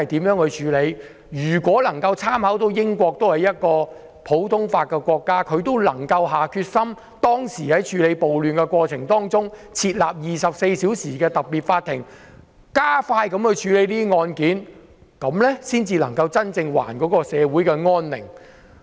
如果我們參考同樣實施普通法的英國，他們當時處理暴亂時設立24小時的特別法庭，加快處理這些案件，這樣才能真正還社會安寧。